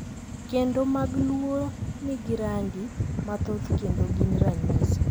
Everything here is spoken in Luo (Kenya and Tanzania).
Kendo mag Luo nigi rangi mathoth kendo gin ranyisi,